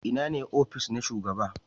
Ina ne ofis na shugaba?